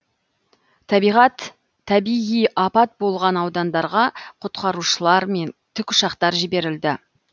табиғи апат болған аудандарға құтқарушылар мен тікұшақтар жіберілді